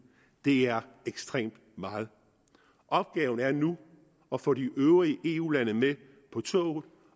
det er ekstremt meget opgaven er nu at få de øvrige eu lande med på toget